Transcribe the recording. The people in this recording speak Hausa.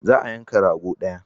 Za a yanka rago daya.